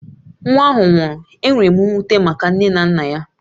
Nwa ahụ nwụrụ, enwere m mwute maka nne na nna ya